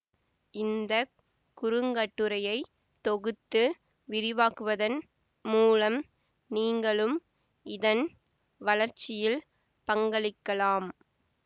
இந்த குறுங்கட்டுரையை தொகுத்து விரிவாக்குவதன் மூலம் நீங்களும் இதன் வளர்ச்சியில் பங்களிக்கலாம்